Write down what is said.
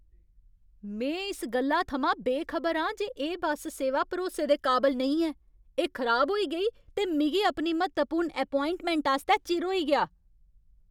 में इस गल्ला थमां बेखबर आं जे एह् बस सेवा भरोसे दे काबल नेईं ऐ। एह् खराब होई गेई ते मिगी अपनी म्हत्तवपूर्ण ऐपोआइंटमैंट आस्तै चिर होई गेआ!